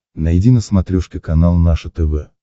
найди на смотрешке канал наше тв